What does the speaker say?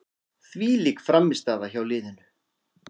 Þvílík frammistaða hjá liðinu.